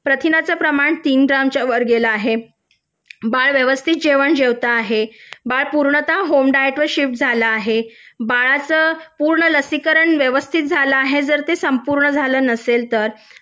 प्रथिनांचे प्रमाण तीन ग्रॅमच्या वर गेला आहे बाळ व्यवस्थित जेवण जेवत आहे बाळ पूर्णतः होम डायट वर शिफ्ट झाल आहे बाळाचं पूर्ण लसीकरण व्यवस्थित झालं आहे जर ते पूर्ण झालं नसेल तर